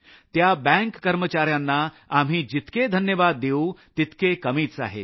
त्या बँक कर्मचाऱ्यांना आम्ही जितके धन्यवाद देऊ तितके कमीच आहेत